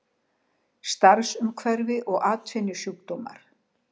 Starfsumhverfi og atvinnusjúkdómar.